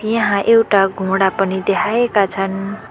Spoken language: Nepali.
यहाँ एउटा घोडा पनि देखाएका छन्।